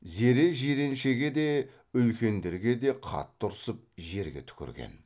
зере жиреншеге де үлкендерге де қатты ұрсып жерге түкірген